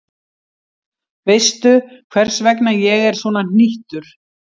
Veistu, hvers vegna ég er svona hnýttur?